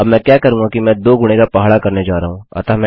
अब मैं क्या करूँगा कि मैं 2 गुणे का पहाड़ा करने जा रहा हूँ